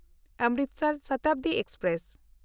Amritsar Shatabdi express